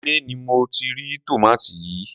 ilé ni mo ti rí tòmátì yìí.